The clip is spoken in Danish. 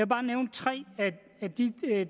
bare nævne tre af de